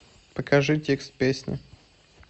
покажи текст песни